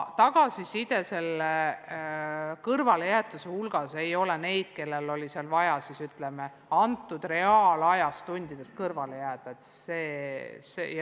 Tagasiside kõrvalejäetusega seoses ei hõlma neid, kellel oli vaja, ütleme, reaalajas tundidest kõrvale jääda.